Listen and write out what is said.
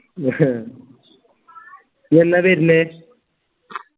നീ എന്നാ വര്ണെ